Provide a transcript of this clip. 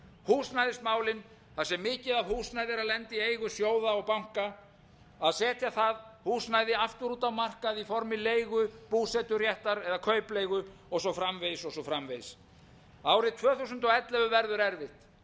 húsnæðismálin þar sem mikið af húsnæði er að lenda í eigu sjóða og banka að setja það húsnæði aftur út á markað í formi leigu búseturéttar eða kaupleigu og svo framvegis og svo framvegis árið tvö þúsund